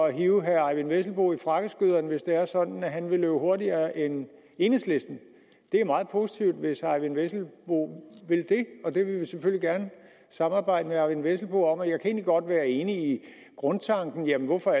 at hive herre eyvind vesselbo i frakkeskøderne hvis det er sådan at han vil løbe hurtigere end enhedslisten det er meget positivt hvis herre eyvind vesselbo vil det og det vil vi selvfølgelig gerne samarbejde med herre eyvind vesselbo om jeg kan godt være enig i grundtanken om hvorfor